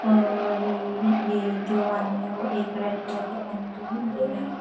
और ये जो आदमी है वो एक रेड कलर की पेन जो है दे रहा है।